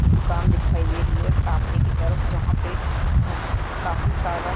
दुकान दिखाई दे रही है सामने की तरफ जहाँ पे हम काफी सारा--